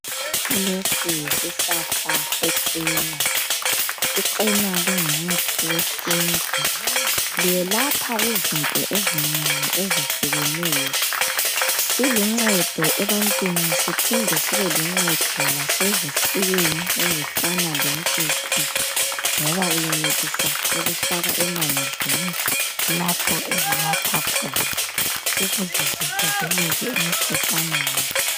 Lesi yisihlahla se-Cena. I-Cena lingumuthi wesintu. Liyelapha izinto ezinengi ezehlukeneyo. Siluncedo ebantwini siphinde sibeluncedo lasezifuyweni ezifana lenkukhu, ngoba uyenelisa ukufaka emanzini lapho ezinatha khona ukuze zivikeleke emkhuhlaneni.